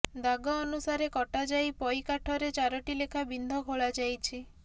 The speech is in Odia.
ଦାଗ ଅନୁସାରେ କଟାଯାଇ ପଇ କାଠରେ ଚାରଟି ଲେଖା ବିନ୍ଧ ଖୋଳାଯାଇଛି